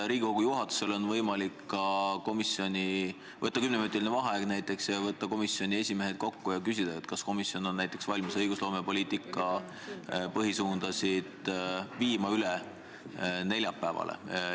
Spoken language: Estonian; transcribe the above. Riigikogu juhatusel on võimalik võtta kümneminutiline vaheaeg, kutsuda komisjonide esimehed kokku ja küsida, kas ollakse valmis viima näiteks õigusloomepoliitika põhialuste arutelu üle neljapäevale.